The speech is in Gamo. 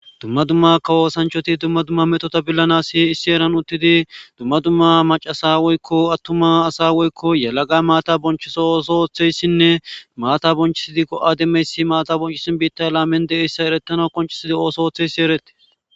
Dumma dumma kawoosanchoti dumma dumma metota billana si issi eran uttidi dumma dumma macasa woyiko attuma asa woyiko yalaqa maata bonchiso osootheyssinne maata bonchisidi go'a demmeyssi maata bonchisin biitta laamen deeyssa eretana qonchisidi ooso oththe yssi eretti